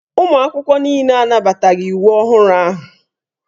Ụmụ akwụkwọ niile anabataghị iwu ọhụrụ ahụ.